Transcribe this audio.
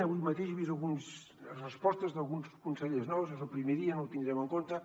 avui mateix he vist algunes respostes d’alguns consellers nous és el primer dia no ho tindrem en compte